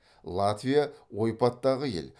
латвия ойпаттағы ел